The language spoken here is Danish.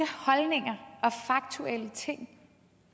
holdninger og faktuelle ting